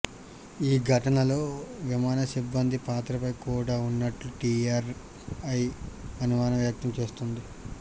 ఈ ఘటనలో విమాన సిబ్బంది పాత్రపై కూడా ఉన్నట్లు డీఆర్ఐ అనుమానం వ్యక్తం చేస్తోంది